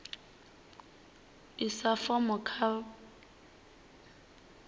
isa fomo kha vhatsivhudzi vha